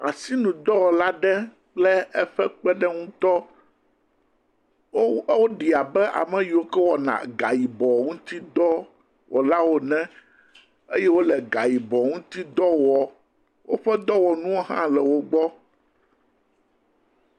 Asinudɔwɔla aɖe kple eƒe kpeɖeŋutɔ, wo woɖi abe ame yiwo ke wɔna a yibɔ ŋuti dɔ wɔlawo ene eye wole ga yibɔ ŋuti dɔ wɔm. Woƒe dɔwɔnuwo hã le wo gbɔ.